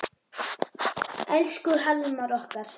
Elsku Hallmar okkar.